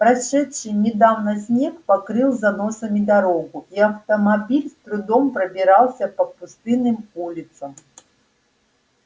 прошедший недавно снег покрыл заносами дорогу и автомобиль с трудом пробирался по пустынным улицам